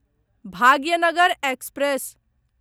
Bhagyanagar express